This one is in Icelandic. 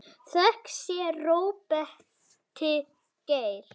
Þökk sé Róberti Geir.